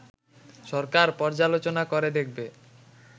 সরকার পর্যালোচনা করে দেখবে